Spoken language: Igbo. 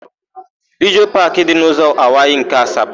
Lijọọ Paakị dị n'ụzọ Anwaị nke Asaba.